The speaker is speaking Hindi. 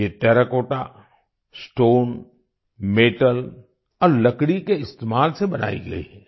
ये टेराकोटा स्टोन मेटल और लकड़ी के इस्तेमाल से बनाई गई हैं